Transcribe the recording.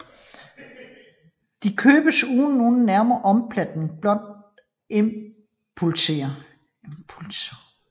De købes uden nogen nærmere planlægning blot impulser